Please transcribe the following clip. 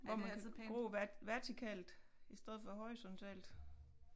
Hvor man kan gro vertikalt i stedet for horisontalt